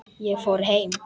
Ég fór heim.